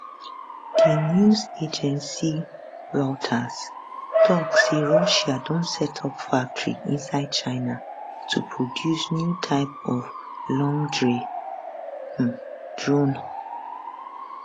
di news agency reuters tok say russia don set up factory inside china to produce new type of longrange um drone